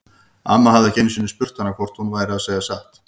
Amma hafði ekki einu sinni spurt hana hvort hún væri að segja satt.